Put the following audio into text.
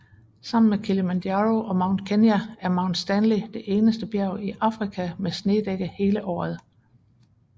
Sammen med Kilimanjaro og Mount Kenya er Mount Stanley det eneste bjerg i Afrika med snedække hele året